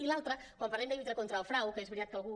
i l’altra quan parlem de lluitar contra el frau que és veritat que algú